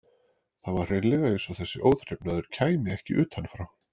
Það var hreinlega eins og þessi óþrifnaður kæmi ekki utan frá.